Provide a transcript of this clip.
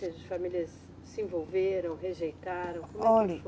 Ou seja, as famílias se envolveram, rejeitaram, como é que foi?